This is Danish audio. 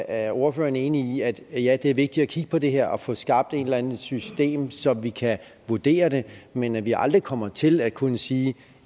er ordføreren enig i at ja det er vigtigt at kigge på det her og få skabt et eller andet system så vi kan vurdere det men at vi aldrig kommer til at kunne sige at